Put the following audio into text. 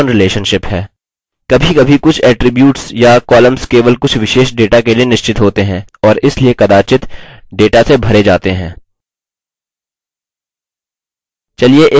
कभीकभी कुछ attributes या columns केवल कुछ विशेष data के लिए निश्चित होते हैं और इसलिए कदाचित data से भरे जाते हैं